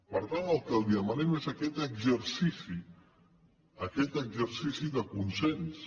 per tant el que li demanem és aquest exercici aquest exercici de consens